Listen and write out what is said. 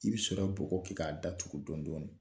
I be sɔrɔ bɔgɔ kɛ k'a datugu dɔn dɔni